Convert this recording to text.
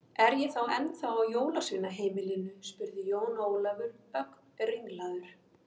Er ég þá ennþá á jólasveinaheimilinu spurði Jón Ólafur, ögn ringlaður.